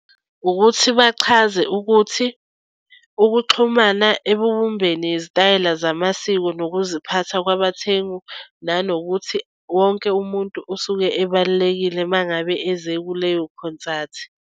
Ukuthi bachaze ukuthi ukuxhumana ebubumbeni izitayela zamasiko nokuziphatha kwabathengu nanokuthi wonke umuntu osuke ebalulekile uma ngabe eze kuleyo khonsathi.